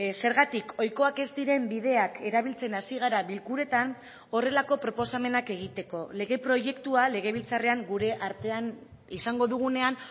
zergatik ohikoak ez diren bideak erabiltzen hasi gara bilkuretan horrelako proposamenak egiteko lege proiektua legebiltzarrean gure artean izango dugunean